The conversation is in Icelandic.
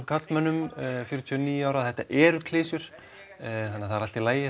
karlmönnum fjörutíu og níu ára og þetta eru klisjur þannig það er allt í lagi